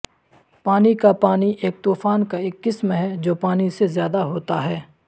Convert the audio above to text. پانی کا پانی ایک طوفان کا ایک قسم ہے جو پانی سے زیادہ ہوتا ہے